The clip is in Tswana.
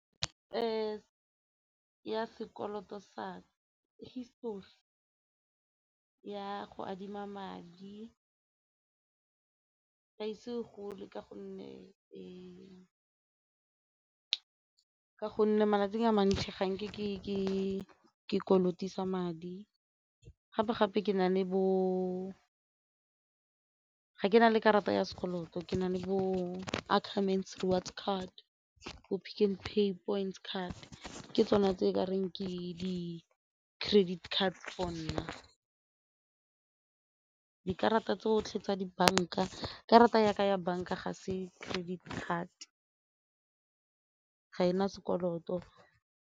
ya sekoloto sa histori ya go adima madi a ise gole ka gonne malatsi a mantsi ga nke ke kolotisa madi gape-gape ke na le karata ya sekoloto ke na le bo-Ackermans reward card, bo-PicknPay points card ke tsone tse e ka reng ke credit card for nna, dikarata tse tsotlhe tsa dibanka karata ya ka ya banka ga se credit card ga e na sekoloto.